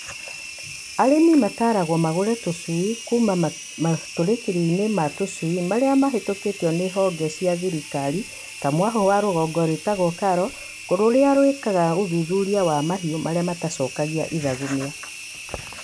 Arĩmi mataragwo magũre tũcui kuma matũrĩkithĩrio-inĩ ma tũcui marĩa mahĩtukie nĩ honge cia thirikari ta mwahũ wa rũhonge rwĩtagwo KALRO rũrĩa rwĩkaga ũthuthuria wa mahiũ marĩa matacokagia ithagumia.